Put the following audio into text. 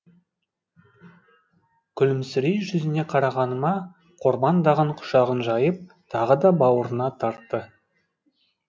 күлімсірей жүзіне қарағаныма қорбаңдаған құшағын жайып тағы да бауырына тартты